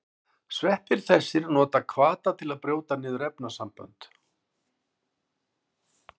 Sveppir þessir nota hvata til að brjóta niður efnasamböndin.